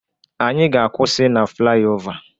Anyị ga-akwụsị na flyaova